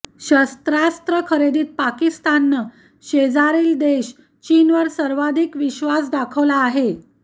शस्त्रास्त्र खरेदीत पाकिस्ताननं शेजारी देश चीनवर सर्वाधिक विश्वास दाखवला आहे